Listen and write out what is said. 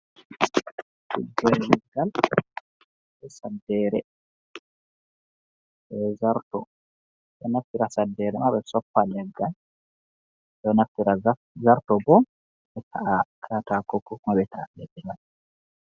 Tuggere leggal be saddere be zarto ɓeɗo Naftira saddere ɓe soppa leggal ɓeɗo Naftira zarto bo ɓe ta'a kaata ko kuma ɓe ta'a leɗɗe man.